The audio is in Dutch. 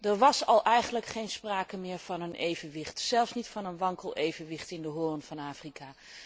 Er was eigenlijk al geen sprake meer van een evenwicht, zelfs niet van een wankel evenwicht in de Hoorn van Afrika.